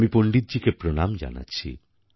আমি পণ্ডিতজীকে প্রণাম জানাচ্ছি